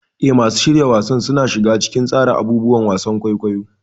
Eh, masu shirya wasan suna shiga cikin tsara abubuwan wasan kwaikwayo.